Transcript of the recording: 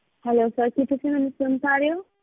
Hello sir ਕੀ ਤੁਸੀਂ ਮੈਨੂੰ ਸੁਣ ਪਾ ਰਹੇ ਹੋ?